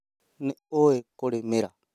Nĩ ũĩ kũrĩmĩra?